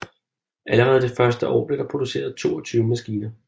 Allerede det første år blev der produceret 22 maskiner